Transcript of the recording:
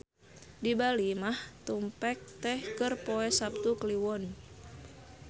Di Bali mah tumpek teh keur poe Saptu Kliwon.